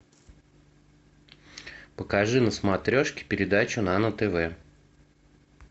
покажи на смотрешке передачу нано тв